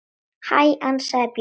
Hæ, ansaði Björg.